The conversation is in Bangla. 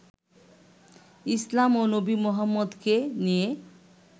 ইসলাম ও নবী মোহাম্মদকে নিয়ে